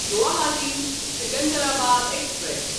Guwahati Secunderabad express